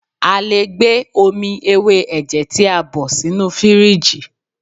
A lè gbé omi ewé ẹ̀jẹ̀ tí a bọ̀ ṣínu fìrígì.